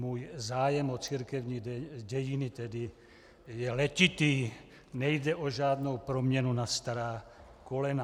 Můj zájem o církevní dějiny tedy je letitý, nejde o žádnou proměnu na stará kolena.